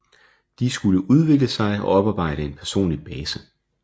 De skulle udvikle sig og oparbejde en personlig base